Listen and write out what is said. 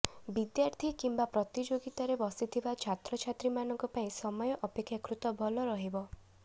ବିଦ୍ୟାର୍ଥୀ କିମ୍ବା ପ୍ରତିଯୋଗିତାରେ ବସିଥିବା ଛାତ୍ରଛାତ୍ରୀମାନଙ୍କ ପାଇଁ ସମୟ ଅପେକ୍ଷାକୃତ ଭଲ ରହିବ